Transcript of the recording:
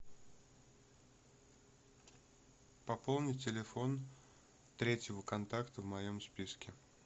пополни телефон третьего контакта в моем списке